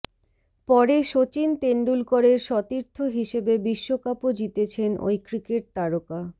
পরে সচিন তেন্ডুলকরের সতীর্থ হিসেবে বিশ্বকাপও জিতেছেন ওই ক্রিকেট তারকা